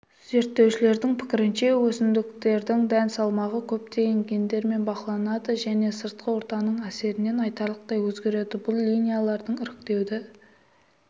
зерттеушілердің пікірінше өсімдіктердің дән салмағы көптеген гендермен бақыланады және сыртқы ортаның әсерінен айтарлықтай өзгереді бұл линиялардың іріктеуді